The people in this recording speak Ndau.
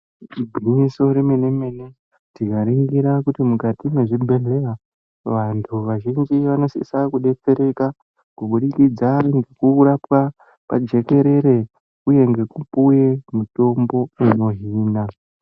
Igwinyiso remene-mene, tikaringira kuti mukati mezvibhedhlera, vantu vazhinji vanosise kudetsereka kubudikidza ngekurapwa pajekerere uye ngekupuwe mitombo inohina.